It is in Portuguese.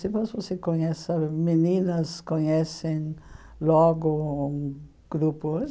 conhece sabe, meninas conhecem logo um grupo.